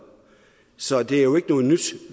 så det er jo ikke noget nyt